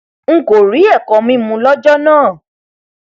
n kò rí ẹkọmímu lọjọ náà